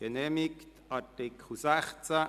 Angenommen 7 Übergangs- und Schlussbestimmungen Art.